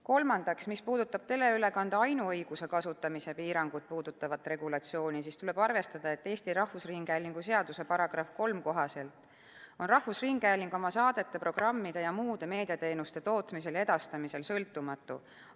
Kolmandaks, mis puudutab teleülekande ainuõiguse kasutamise piirangut puudutavat regulatsiooni, tuleb arvestada, et Eesti Rahvusringhäälingu seaduse § 3 kohaselt on rahvusringhääling oma saadete, programmide ja muude meediateenuste tootmisel ja edastamisel sõltumatu.